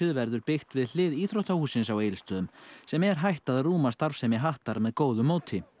verður byggt við hlið íþróttahússins á Egilsstöðum sem er hætt að rúma starfsemi hattar með góðu móti